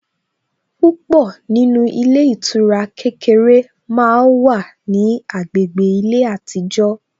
Púpọ̀ nínú ilé ìtura kékeré màá wá ní agbègbè ilé àtijó